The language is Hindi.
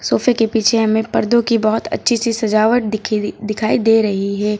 सोफे के पीछे हमें पर्दो की बहोत अच्छी सी सजावट दिखी दि दिखाई दे रही है।